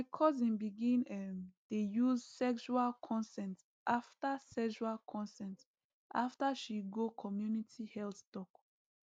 my cousin begin um dey use sexual consent after sexual consent after she go community health talk